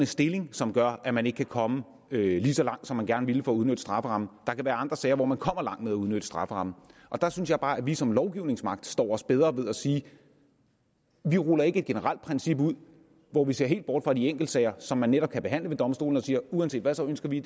stilling som gør at man ikke kan komme lige så langt som man gerne ville med at udnytte strafferammen der kan være andre sager hvor man kommer langt med at udnytte strafferammen der synes jeg bare at vi som lovgivende magt står os bedre ved at sige vi ruller ikke et generelt princip ud hvor vi ser helt bort fra de enkelte sager som man netop kan behandle ved domstolene og siger at uanset hvad ønsker vi